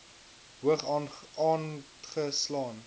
hoog aange slaan